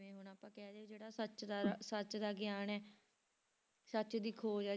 ਜਿਵੇਂ ਹੁਣ ਆਪਾਂ ਕਹਿ ਲਈਏ ਜਿਹੜਾ ਸੱਚ ਦਾ ਸੱਚ ਦਾ ਗਿਆਨ ਹੈ ਸੱਚ ਦੀ ਖੋਜ ਹੈ